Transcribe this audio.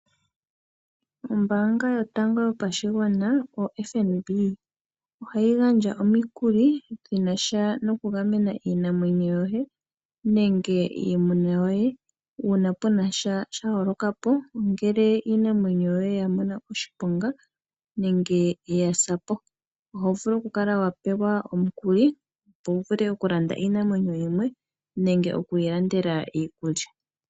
Ombaanga yotango yopashigwana yo FNB ohayi gandja omikuli dhinasha noku gamena iinamwenyo yoye nenge iimuna yoye uuna wunasha sha holokapo ngele iinamwenyo yoye ya mona oshiponga nenge yasapo . Ohovulu okukala wa pewa omukuli opo wu vule okulanda iinamwenyo yimwe nenge oku yi landela iikulya.